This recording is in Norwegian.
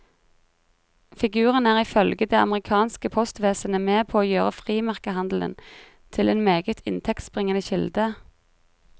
Figuren er ifølge det amerikanske postvesenet med på å gjøre frimerkehandelen til en meget inntektsbringende kilde.